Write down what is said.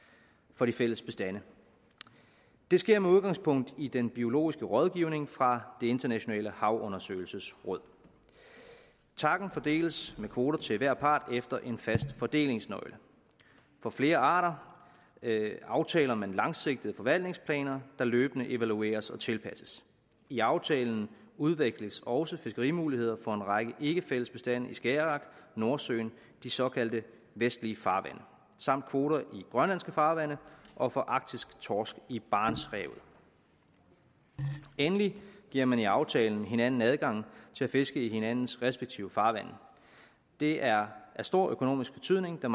for de fælles bestande det sker med udgangspunkt i den biologiske rådgivning fra det internationale havundersøgelsesråd tacen fordeles med kvoter til hver part efter en fast fordelingsnøgle for flere arter aftaler man langsigtede forvaltningsplaner der løbende evalueres og tilpasses i aftalen udveksles også fiskerimuligheder for en række ikke fælles bestande i skagerrak og nordsøen de såkaldte vestlige farvande samt kvoter i grønlandske farvande og for arktisk torsk i barentshavet endelig giver man i aftalen hinanden adgang til at fiske i hinandens respektive farvande det er af stor økonomisk betydning da